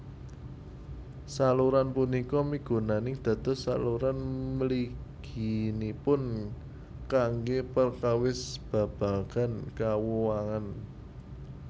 Saluran punika migunani dados saluran mliginipun kanggé perkawis babagan kauwangan